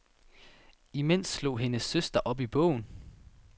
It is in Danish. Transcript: Imens slog hendes søster op i bogen.